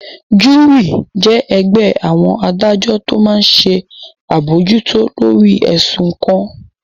Júúrì jẹ́ ẹgbẹ́ àwọn adájọ́ tó máa n ṣe àbojútó lórí ẹ̀sùn kan